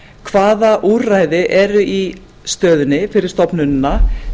hvaða úrræði eru í stöðunni fyrir stofnunina